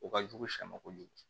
O ka jugu sɛma kojugu